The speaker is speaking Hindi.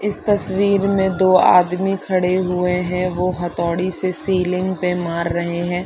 इस तस्वीर मे दो आदमी खड़े हुए है वो हतोड़ी से सीलिंग पे मार रहै है।